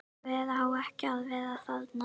Hver á ekki að vera þarna?